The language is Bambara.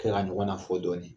Kɛ ka ɲɔgɔn na fɔ dɔɔnin